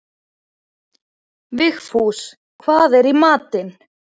Vigfús, hvað er í matinn?